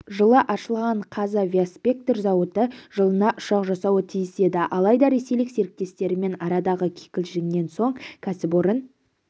жылы ашылған қазавиаспектр зауыты жылына ұшақ жасауы тиіс еді алайда ресейлік серіктестерімен арадағы кикілжіңнен соң кәсіпорын